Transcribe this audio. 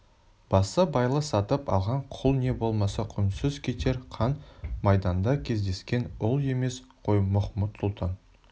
басыбайлы сатып алған құл не болмаса құнсыз кетер қан майданда кездескен ұл емес қой махмуд-сұлтан